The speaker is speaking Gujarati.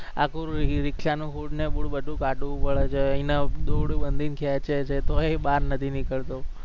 આખું રિક્ષાનું હુળ ને ભૂળ બધું કાઢવું પડે છે એને દોરડું બાંધીને ખેંચે છે તોય બાર નથી નીકળતો